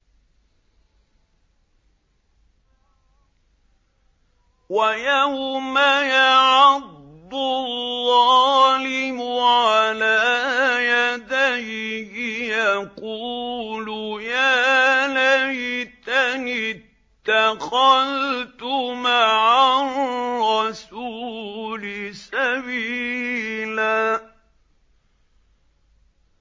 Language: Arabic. وَيَوْمَ يَعَضُّ الظَّالِمُ عَلَىٰ يَدَيْهِ يَقُولُ يَا لَيْتَنِي اتَّخَذْتُ مَعَ الرَّسُولِ سَبِيلًا